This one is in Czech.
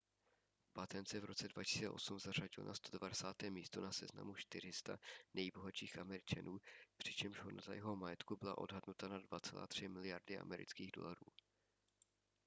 batten se v roce 2008 zařadil na 190. místo na seznamu 400 nejbohatších američanů přičemž hodnota jeho majetku byla odhadnuta na 2,3 miliardy amerických dolarů